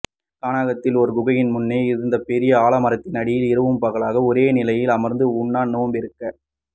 கானகத்தில் ஒரு குகையின் முன்னே இருந்த பெரிய ஆலமரத்தின் அடியில் இரவு பகலாக ஒரே நிலையில் அமர்ந்து உண்ணா நோன்பிருக்க